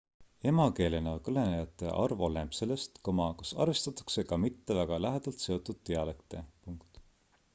emakeelena kõnelejate arv oleneb sellest kas arvestatakse ka mitte väga lähedalt seotud dialekte